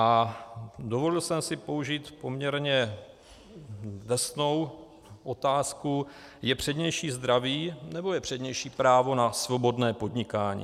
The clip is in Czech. A dovolil jsem si použít poměrně drsnou otázku - je přednější zdraví, nebo je přednější právo na svobodné podnikání?